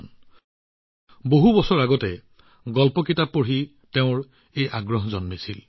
বছৰ বছৰ আগতে তেওঁৰ মনত এই আগ্ৰহৰ সৃষ্টি হৈছিল যেতিয়া তেওঁ বহু গল্পৰ কিতাপ পঢ়িছিল